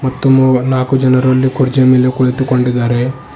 ಮತ್ತು ಮು ನಾಕು ಜನರು ಅಲ್ಲಿ ಕುರ್ಚಿಯ ಮೇಲೆ ಕುಳಿತುಕೊಂಡಿದ್ದಾರೆ.